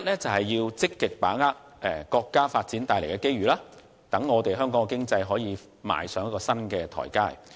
第一，積極把握國家發展帶來的機遇，讓香港經濟可以踏上新台階。